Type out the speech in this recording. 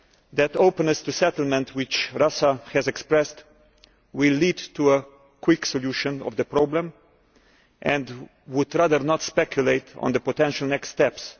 that the openness to settlement which Russia has expressed will lead to a quick solution to the problem, and we would rather not speculate on the possible next steps.